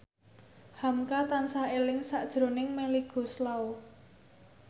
hamka tansah eling sakjroning Melly Goeslaw